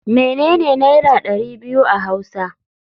Menene naira dari biyu a hausa.